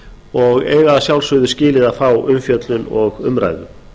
og eiga að sjálfsögðu skilið að fá umfjöllun og umræðu